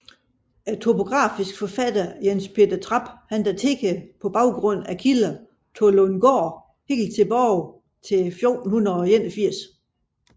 Den topografiske forfatter Jens Peter Trap daterede på baggrund af kilder Tollundgaard helt tilbage til 1481